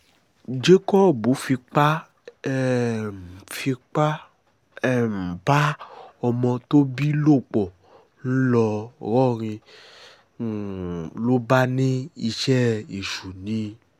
jacob fipá um fipá um bá ọmọ tó bí lò pọ̀ ńlọrọrìn um ló bá ní iṣẹ́ èṣù ni